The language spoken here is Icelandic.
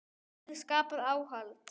Þannig verður skapað aðhald.